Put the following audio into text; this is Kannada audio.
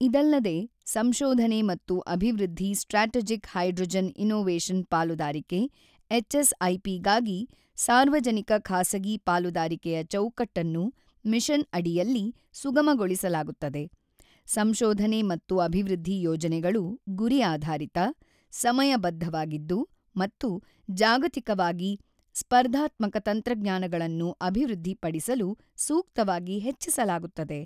ಇದಲ್ಲದೆ, ಸಂಶೋಧನೆ ಮತ್ತು ಅಭಿವೃದ್ಧಿ ಸ್ಟ್ರಾಟೆಜಿಕ್ ಹೈಡ್ರೋಜನ್ ಇನ್ನೋವೇಶನ್ ಪಾಲುದಾರಿಕೆ ಎಸ್ಎಚ್ಐಪಿ ಗಾಗಿ ಸಾರ್ವಜನಿಕ ಖಾಸಗಿ ಪಾಲುದಾರಿಕೆಯ ಚೌಕಟ್ಟನ್ನು ಮಿಷನ್ ಅಡಿಯಲ್ಲಿ ಸುಗಮಗೊಳಿಸಲಾಗುತ್ತದೆ ಸಂಶೋಧನೆ ಮತ್ತು ಅಭಿವೃದ್ಧಿ ಯೋಜನೆಗಳು ಗುರಿ ಆಧಾರಿತ, ಸಮಯ ಬದ್ಧವಾಗಿದ್ದು ಮತ್ತು ಜಾಗತಿಕವಾಗಿ ಸ್ಪರ್ಧಾತ್ಮಕ ತಂತ್ರಜ್ಞಾನಗಳನ್ನು ಅಭಿವೃದ್ಧಿಪಡಿಸಲು ಸೂಕ್ತವಾಗಿ ಹೆಚ್ಚಿಸಲಾಗುತ್ತದೆ.